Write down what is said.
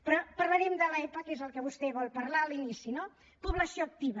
però parlarem de l’epa que és el que vostè vol parlar a l’inici no població activa